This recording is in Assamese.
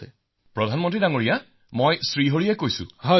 শ্ৰী হৰি জি বিঃ প্ৰধানমন্ত্ৰী মহোদয় মই শ্ৰী হৰিয়ে কৈ আছো